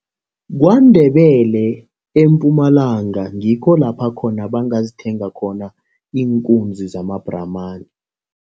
KwaNdebele eMpumalanga, ngikho lapha khona bangazithenga khona iinkunzi zamabhramani.